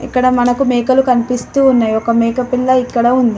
ఇక్కడ మనకు మేకలు కనిపిస్తూ ఉన్నాయ్. ఒక మేకపిల్ల ఇక్కడ ఉంది.